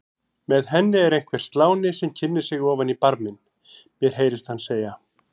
Með henni er einhver sláni sem kynnir sig ofan í barminn, mér heyrist hann segja